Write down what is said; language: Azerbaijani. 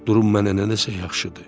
Durum mənə nədənsə yaxşıdır.